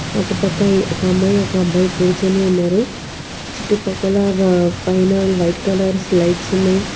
అట్టుపక్కన ఒక అమ్మాయి ఒక అబ్బాయి కూర్చొని ఉన్నారు చుట్టూ పక్కల రా పైన వైట్ కలర్ స్లయిడ్స్ ఉన్నాయి.